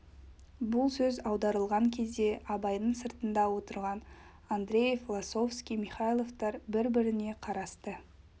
бұл сөз аударылған кезде абайдың сыртында отырған андреев лосовский михайловтар бір-біріне қарасты